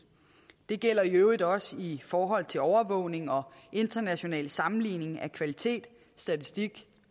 det gælder i øvrigt også i forhold til overvågning og international sammenligning af kvalitet statistik